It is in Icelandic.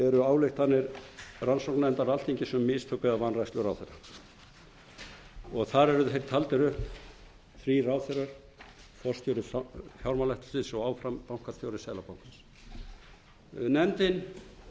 eru ályktanir rannsóknarnefndar alþingi sum mistök eða vanrækslu ráðherra þar eru þeir taldir upp þrír ráðherrar forstjóri fjármálaeftirlits og áfram bankastjóri seðlabankans nefndin